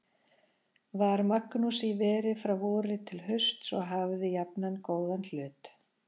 Var Magnús í veri frá vori til hausts og hafði jafnan góðan hlut.